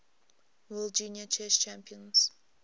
world junior chess champions